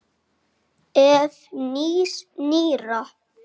Ef. nýs- nýrra